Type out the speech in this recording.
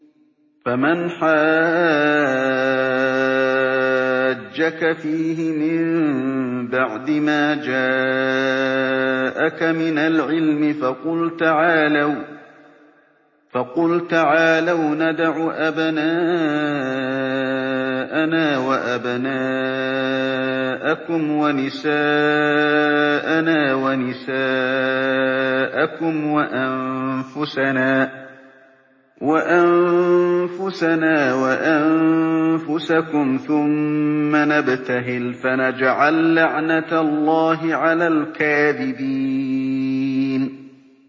فَمَنْ حَاجَّكَ فِيهِ مِن بَعْدِ مَا جَاءَكَ مِنَ الْعِلْمِ فَقُلْ تَعَالَوْا نَدْعُ أَبْنَاءَنَا وَأَبْنَاءَكُمْ وَنِسَاءَنَا وَنِسَاءَكُمْ وَأَنفُسَنَا وَأَنفُسَكُمْ ثُمَّ نَبْتَهِلْ فَنَجْعَل لَّعْنَتَ اللَّهِ عَلَى الْكَاذِبِينَ